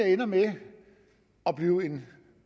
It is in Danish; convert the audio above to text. ende med at blive en